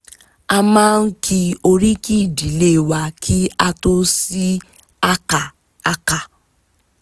a máa ń ki oríki ìdílé wa kí a tó sí àká àká